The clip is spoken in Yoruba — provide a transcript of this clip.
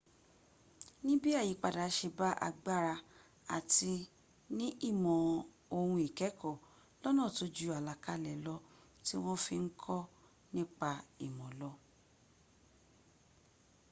níbí àyípadà se bá agbára àti ní ìmọ̀ òhun ìkẹ́ẹ̀kọ́ lọ́nà tó ju àlàkalẹ̀ lọ tí wọ́n fi ń kọ́ nipa ìmọ̀ lọ